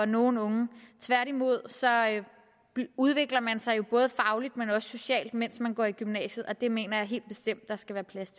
nogen unge tværtimod udvikler man sig jo både fagligt og socialt mens man går i gymnasiet og det mener jeg helt bestemt der skal være plads